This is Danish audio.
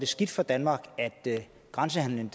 skidt for danmark at grænsehandelen